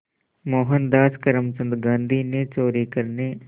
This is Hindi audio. मोहनदास करमचंद गांधी ने चोरी करने